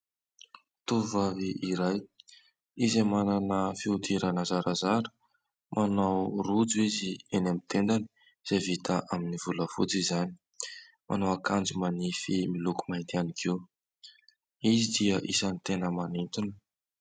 Tovovavy iray izay manana fihodirana zarazara. Manao rojo izy eny amin'ny tendany izay vita amin'ny volafotsy izany, manao akanjo manify miloko mainty ihany koa izy dia isany tena manintona.